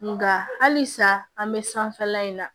Nga halisa an be sanfɛla in na